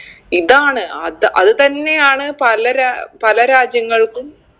ഇതാണ് അത് അത് തന്നെയാണ് പല രാ പല രാജ്യങ്ങൾക്കും